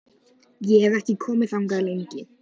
Ég hef ekki komið þangað lengi.